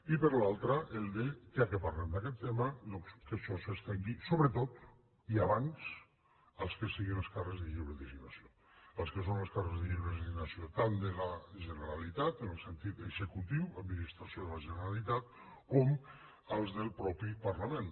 i per l’altra ja que parlem d’aquest tema doncs que això s’estengui sobretot i abans als que siguin els càrrecs de lliure designació als que són els càrrecs de lliure designació tant de la generalitat en el sentit execu tiu administració de la generalitat com els del mateix parlament